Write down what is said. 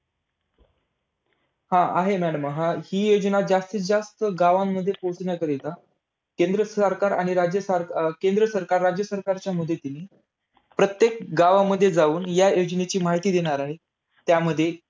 अं आहे madam. हि योजना जास्तीत जास्त गावांमध्ये पोहचण्याकरिता केंद्र सरकार आणि राज्य सरकार अं केंद्र सरकार राज्य सरकारच्या मदतीने प्रत्येक गावामध्ये जाऊन या योजनेची माहिती देणार आहे. त्यामध्ये